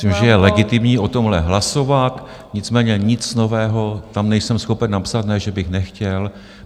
Myslím, že je legitimní o tomhle hlasovat, nicméně nic nového tam nejsem schopen napsat, ne že bych nechtěl.